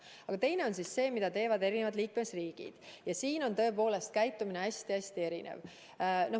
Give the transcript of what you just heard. Aga teine on see, mida teevad konkreetsed liikmesriigid, ja siin on tõepoolest käitumine hästi-hästi erinev.